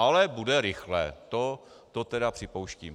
Ale bude rychlé, to tedy připouštím.